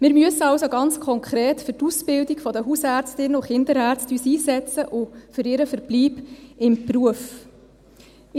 Wir müssen uns also ganz konkret für die Ausbildung der Hausärztinnen und Kinderärzte und für ihren Verbleib im Beruf einsetzen.